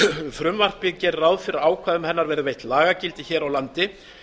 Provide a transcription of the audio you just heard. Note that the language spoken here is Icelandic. frumvarpið gerir ráð fyrir að ákvæðum hennar verði veitt lagagildi hér á landi